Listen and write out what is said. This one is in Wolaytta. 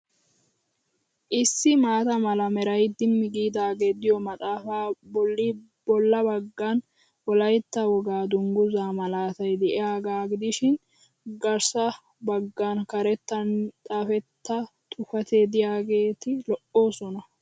Issi maata mala meray dimmi giidaagee diyo maafa bolli bolla baggan Wolaytta wogaa dunguzaa malaatay diyagaa gidishin gassa baggan karettan xaafetta xuufeti diyageeti lo'oosona.